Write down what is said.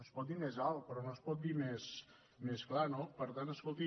es pot dir més alt però no es pot dir més clar no per tant escolti